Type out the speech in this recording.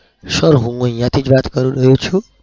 sir હું અહિયાંથી જ વાત કરી રહ્યો છું.